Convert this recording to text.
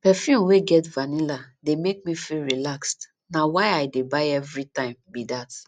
perfume wey get vanilla dey make me feel relaxed na why i dey buy everytime be dat